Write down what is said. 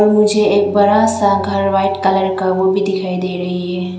मुझे एक बड़ा सा घर व्हाइट कलर का वो भी दिखाई दे रही है।